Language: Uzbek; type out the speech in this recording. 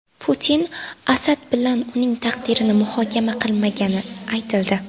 Putin Asad bilan uning taqdirini muhokama qilmagani aytildi.